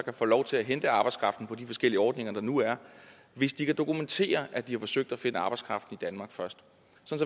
lov til at hente arbejdskraften på de forskellige ordninger der nu er hvis de kan dokumentere at de har forsøgt at finde arbejdskraften i danmark først